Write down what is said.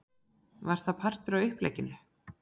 Var það partur af upplegginu?